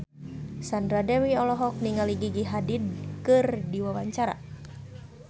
Sandra Dewi olohok ningali Gigi Hadid keur diwawancara